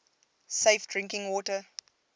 safe drinking water